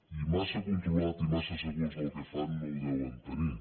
i massa controlat i massa segurs del que fan no ho deuen tenir